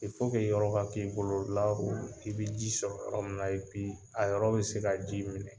yɔrɔ ka k'i bolo i bi ji sɔrɔ yɔrɔ min na i bi a yɔrɔ bɛ se ka ji minɛ .